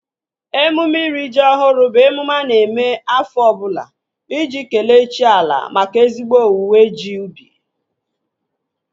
Emume iri ji ọhụrụ bụ emume a na-eme afọ ọbụla iji kelee chi ala maka ezigbo owuwe ji ubi